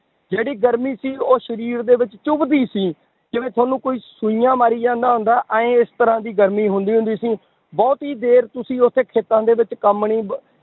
ਜਿਹੜੀ ਗਰਮੀ ਸੀ ਉਹ ਸਰੀਰ ਦੇ ਵਿੱਚ ਚੁੱਭਦੀ ਸੀ, ਜਿਵੇਂ ਤੁਹਾਨੂੰ ਕੋਈ ਸੂਈਆਂ ਮਾਰੀ ਜਾਂਦਾ ਹੁੰਦਾ, ਇਉਂ ਇਸ ਤਰ੍ਹਾਂ ਦੀ ਗਰਮੀ ਹੁੰਦੀ ਹੁੰਦੀ ਸੀ ਬਹੁਤੀ ਦੇਰ ਤੁਸੀਂ ਉੱਥੇ ਖੇਤਾਂ ਦੇ ਵਿੱਚ ਕੰਮ ਨੀ ਬ~